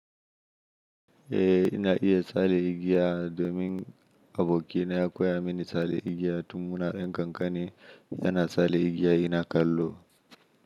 Eh ina iya tsale igiya domin aboki na ya koya mini tsale igiya tun muna yan kankani yana tsale igiya ina kallo.